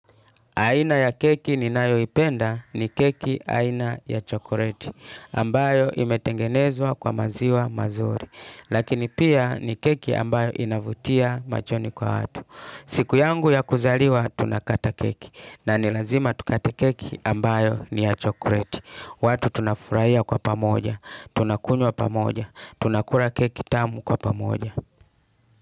Aina ya keki ninayo ipenda ni keki aina ya chokureti ambayo imetengenezwa kwa maziwa mazuri Lakini pia ni keki ambayo inavutia machoni kwa watu siku yangu ya kuzaliwa tunakata keki na nilazima tukata keki ambayo ni ya chokureti watu tunafuraiya kwa pamoja, tunakunywa pamoja, tunakura keki tamu kwa pamoja.